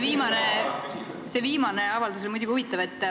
See viimane avaldus oli muidugi huvitav.